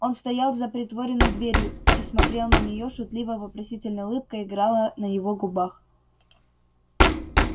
он стоял за притворенной дверью и смотрел на нее шутливо-вопросительная улыбка играла на его губах